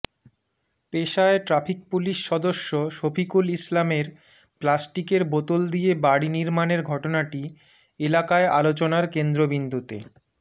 পেশায় traffic police সদস্য শফিকুল ইসলামের প্লাস্টিকের বোতল দিয়ে বাড়ি নির্মাণের ঘটনাটি এলাকায় আলোচনার কেন্দ্রবিন্দুতে